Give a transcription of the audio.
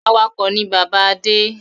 Awakọ̀ ni bàbá Adé.